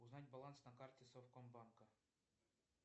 узнать баланс на карте совкомбанка